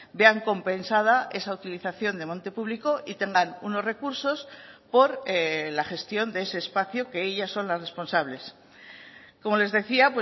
vean compensada esa utilización de monte público y tengan unos recursos por la gestión de ese espacio que ellas son las responsables como les decía